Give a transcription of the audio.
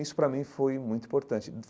Isso, para mim, foi muito importante.